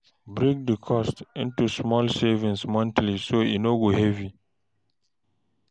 Break the cost into small savings monthly so e no heavy.